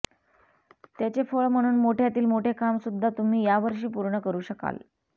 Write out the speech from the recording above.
त्याचे फळ म्हणून मोठ्यातील मोठे काम सुद्धा तुम्ही या वर्षी पूर्ण करू शकाल